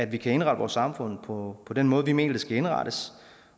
vi kan indrette vores samfund på den måde vi mener det skal indrettes